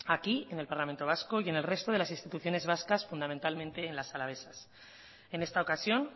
aquí en el parlamento vasco y en el resto de las instituciones vascas fundamentalmente en las alavesas en esta ocasión